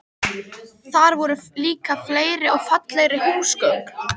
Þar voru líka fleiri og fallegri húsgögn.